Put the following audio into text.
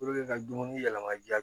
ka dumuni yɛlɛma ja